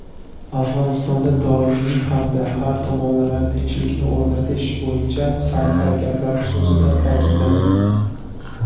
Afg‘onistonda doimiy hamda har tomonlama tinchlikni o‘rnatish bo‘yicha sa’y-harakatlar xususida ta’kidlandi.